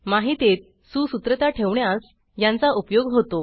माहितीत सुसूत्रता ठेवण्यास यांचा उपयोग होतो